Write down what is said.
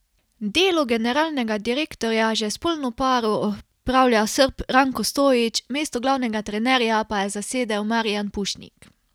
Delo generalnega direktorja že s polno paro opravlja Srb Ranko Stojić, mesto glavnega trenerja pa je zasedel Marijan Pušnik.